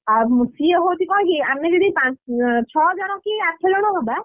ଆଁ ସିଏ ହଉଛି କଣ କି ଆମେ ଯଦି ପାଞ୍ଚ ଛଅ ଜଣ କି ଆଠ ଜଣ ହବା,